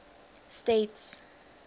states